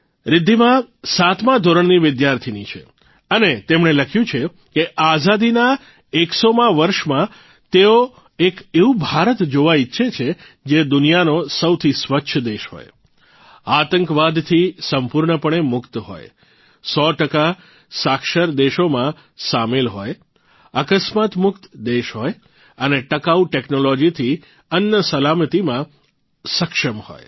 રિધ્ધિમા સાતમા ધોરણની વિદ્યાર્થિની છે અને તેમણે લખ્યું છે કે આઝાદીના એકસોમા વર્ષમાં તેઓ એક એવું ભારત જોવા ઇચ્છે છે જે દુનિયાનો સૌથી સ્વચ્છ દેશ હોય આતંકવાદથી સંપૂર્ણપણે મુક્ત હોય સો ટકા સાક્ષરદેશોમાં સામેલ હોય અકસ્માત મુક્ત દેશ હોય અને ટકાઉ ટેકનોલોજીથી અન્ન સલામતીમાં સક્ષમ હોય